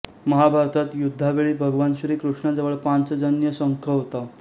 महाभारतात युद्धावेळी भगवान श्री कृष्णाजवळ पांचजन्य शंख होता